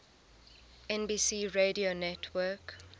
nbc radio network